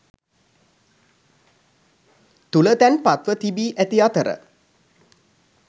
තුළ තැන්පත්ව තිබී ඇති අතර